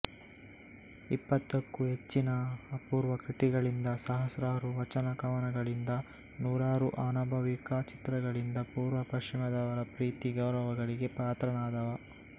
ಇಪ್ಪತ್ತಕ್ಕೂ ಹೆಚ್ಚಿನ ಅಪೂರ್ವ ಕೃತಿಗಳಿಂದ ಸಹಸ್ರಾರು ವಚನಕವನಗಳಿಂದ ನೂರಾರು ಆನುಭಾವಿಕ ಚಿತ್ರಗಳಿಂದ ಪೂರ್ವ ಪಶ್ಚಿಮದವರ ಪ್ರೀತಿ ಗೌರವಗಳಿಗೆ ಪಾತ್ರನಾದವ